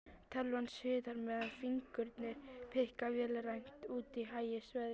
Tölvan suðar meðan fingurnir pikka vélrænt, úti hægist veðrið.